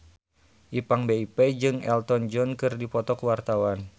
Ipank BIP jeung Elton John keur dipoto ku wartawan